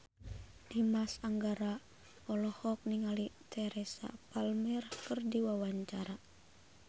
Dimas Anggara olohok ningali Teresa Palmer keur diwawancara